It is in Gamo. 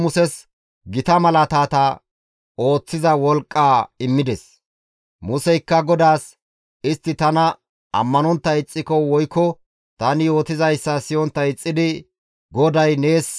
Museykka GODAAS, «Istti tana ammanontta ixxiko woykko tani yootizayssa siyontta ixxidi, ‹GODAY nees qonccibeenna› giikko ta waanoo?» gides.